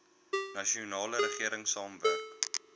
nasionale regering saamwerk